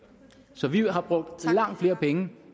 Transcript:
så vi har brugt langt flere penge